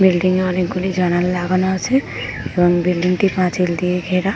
Building এ অনেকগুলি জানালা লাগানো আছে উম এবং বিল্ডিং টি পাঁচিল দিয়ে ঘেরা ।